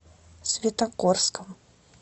светогорском